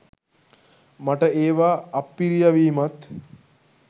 මට ඒවා අප්පිරියා වීමත්